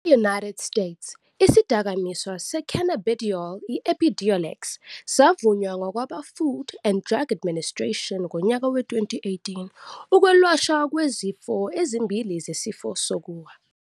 E-United States, isidakamizwa se-cannabidiol i-Epidiolex savunywa ngabakwaFood and Drug Administration ngonyaka we-2018 ukwelashwa kwezifo ezimbili zesifo sokuwa.